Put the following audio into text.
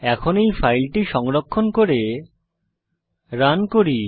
এখন এই ফাইলটি সংরক্ষণ করে রান করি